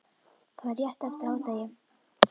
Það var rétt eftir hádegi.